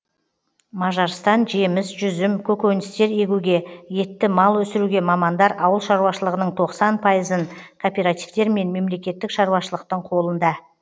мажарстан жеміс жүзім көкөністер егуге етті мал өсіруге мамандар ауыл шаруашылығының тоқсан пайызын кооперативтер мен мемлекеттік шаруашылықтың қолында